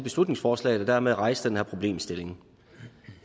beslutningsforslaget og dermed rejse den her problemstilling